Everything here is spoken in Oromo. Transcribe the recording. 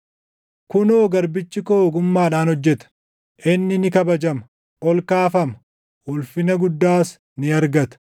Kunoo, garbichi koo ogummaadhaan hojjeta; inni ni kabajama; ol kaafama; ulfina guddaas ni argata.